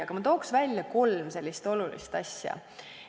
Aga ma toon välja kolm olulist asja.